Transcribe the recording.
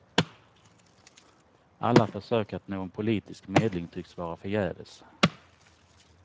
Alla försök att nå en politisk medling tycks vara förgäves.